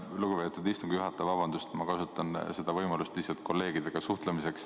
Lugupeetud istungi juhataja, vabandust, ma kasutan seda võimalust lihtsalt kolleegidega suhtlemiseks.